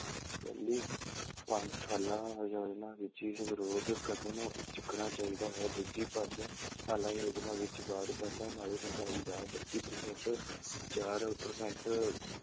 ਪਹਿਲੀ ਪੰਜ ਸਾਲਾ ਯੋਜਨਾ ਵਿੱਚ ਇਸ ਵਿਰੁੱਧ ਕਦਮ ਚੁੱਕਣਾ ਚਾਹੀਦਾ ਹੈ, ਦੂਜੀ ਪੰਜ ਸਾਲਾ ਯੋਜਨਾ ਵਿੱਚ ਬਾਅਦ ਪਹਿਲਾਂ ਨਾਲੋਂ ਮਹਿੰਗਾਈ ਦਾ ਬੱਤੀ percent ਚਾਰ percent